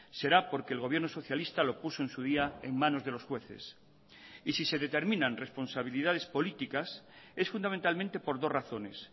será porque el gobierno socialista lo puso en su día en manos de los jueces y si se determinan responsabilidades políticas es fundamentalmente por dos razones